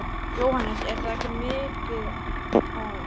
Jóhannes: En það er ekki migið á hann?